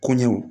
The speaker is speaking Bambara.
Koɲɛw